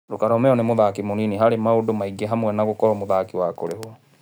Ruka Romeo nĩ mũthaki mũnini harĩ maũndũ maingĩ hamwe na gũkorwo mũthaki wa kũrĩhwo.